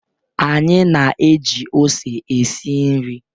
Anyị na-eji ose esi nri.